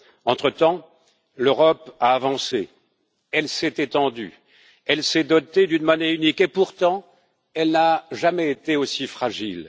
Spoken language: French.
Entre temps, l'Europe a avancé, elle s'est étendue, elle s'est dotée d'une monnaie unique et, pourtant, elle n'a jamais été aussi fragile.